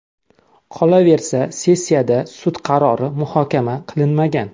Qolaversa, sessiyada sud qarori muhokama qilinmagan.